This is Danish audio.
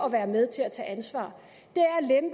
at være med til at tage ansvar